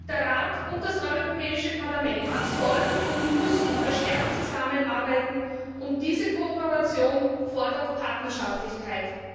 Der Rat und das Europäische Parlament sollen und müssen verstärkt zusammenarbeiten, und diese Kooperation fordert Partnerschaftlichkeit.